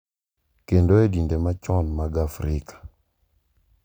Kendo e dinde machon mag Afrika,